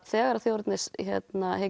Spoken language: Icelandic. þegar þjóðernishyggjan